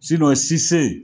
Sise